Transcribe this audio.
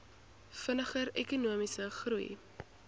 vinniger ekonomiese groei